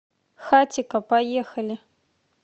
хатико поехали